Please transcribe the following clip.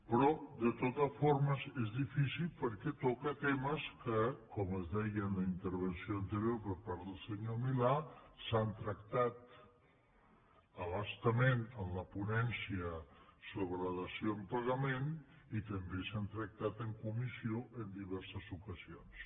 però de totes formes és difícil perquè toca temes que com es deia en la intervenció anterior per part del senyor milà s’han tractat a bastament en la ponència sobre la dació en pagament i també s’han tractat en comissió en diverses ocasions